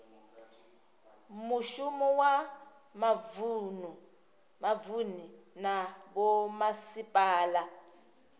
muvhuso wa mavunu na vhomasipala